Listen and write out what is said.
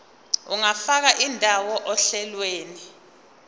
ungafaka indawo ohlelweni